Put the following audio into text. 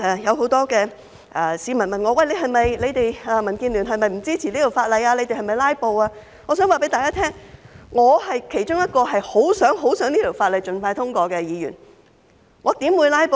有很多市民問我，民建聯是否不支持這項法例，我們是否"拉布"，我想告訴大家，我是其中一位十分、十分希望這項法例盡快通過的議員，我怎會"拉布"呢？